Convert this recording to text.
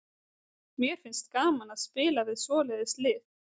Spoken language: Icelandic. Mér finnst gaman að spila við svoleiðis lið.